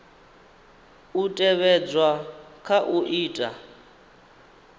u tevhedzwa kha u ita